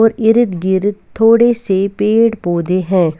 और इरदगिरद थोड़े से पेड़-पौधे हैं।